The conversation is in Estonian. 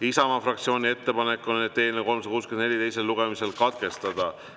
Isamaa fraktsiooni ettepanek on eelnõu 364 teine lugemine katkestada.